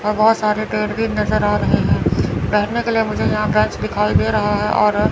और बहुत सारे पेड़ भी नजर आ रहे हैं बैठने के लिए मुझे यहां बेंच दिखाई दे रहा है और--